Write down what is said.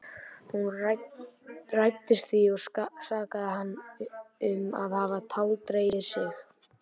Hún reiddist því og sakaði hann um að hafa táldregið sig.